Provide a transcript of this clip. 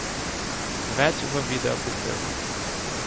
Več v videoprispevku!